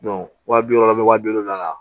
wa bi wɔɔrɔ bɛ wa bi wolonwula